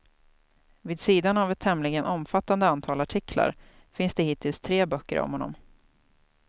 Vid sidan av ett tämligen omfattande antal artiklar finns det hittills tre böcker om honom.